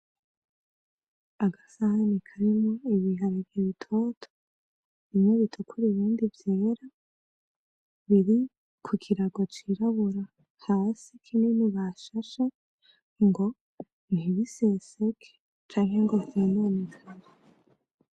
Agasahani karimwo ibiharage bitoto, bimwe bitukura ibindi vyera biri ku kirago c'irabura hasi kinini bashashe ngo ntibiseseke canke ngo vyononekare.